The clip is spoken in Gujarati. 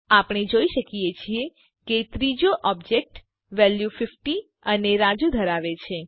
આપણે જોઈ શકીએ છીએ કે ત્રીજો ઓબજેક્ટ વેલ્યુ ૫૦ અને રાજુ ધરાવે છે